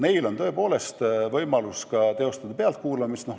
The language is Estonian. Neil on tõepoolest õigus teostada pealtkuulamist.